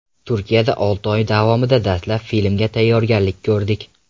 Turkiyada olti oy davomida dastlab filmga tayyorgarlik ko‘rdik.